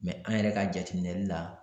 an yɛrɛ ka jateminɛli la